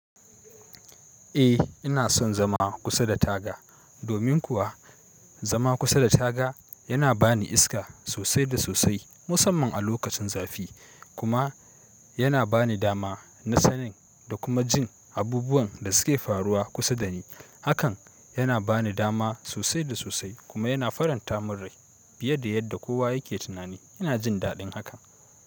Eh ina son zama kusa da taga, domin kuwa zama kusa da taga yana bani iska sosai da sosai musamman a lokacin zafi kuma yana bani dama na sanin da kuma jin abubuwan da suke faruwa kusa dani. Hakan yana bani dama sosai da sosai kuma yana faranta min rai fiye da yadda kowa yake tunani. Yana jin daɗin haka.